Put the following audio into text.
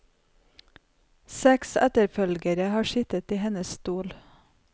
Seks etterfølgere har sittet i hennes stol.